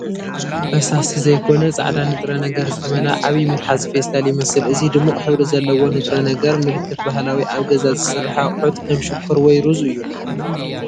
ፈሳሲ ዘይኮነ ጻዕዳ ንጥረ ነገር ዝተመልአ ዓቢ መትሓዚ ፌስታል ይመስል። እዚ ድሙቕ ሕብሪ ዘለዎ ንጥረ ነገር፡ ምልክት ባህላዊ ኣብ ገዛ ዝስራሕ ኣቑሑት፡ ከም ሽኮር ወይ ሩዝ እዩ።